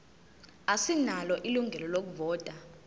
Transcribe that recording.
asinalo ilungelo lokuvota